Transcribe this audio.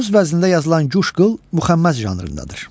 Əruz vəznində yazılan Guş qıl müxəmməz janrındadır.